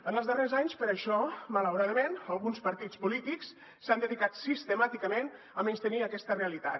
en els darrers anys per això malauradament alguns partits polítics s’han dedicat sistemàticament a menystenir aquesta realitat